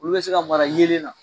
Olu bɛ se ka mara yelen na